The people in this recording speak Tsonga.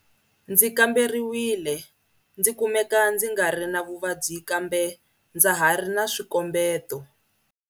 Ndzi kamberiwile ndzi kumeka ndzi ngari na vuvabyi kambe ndza ha ri na swikombeto.